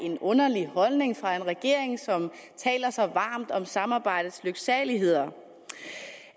en underlig holdning fra en regering som taler så varmt om samarbejdets lyksaligheder